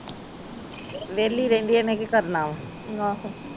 ਵੇਹਲੀ ਰਹਿੰਦੀ ਹਨ ਕੀ ਕਰਨਾ ਵਾ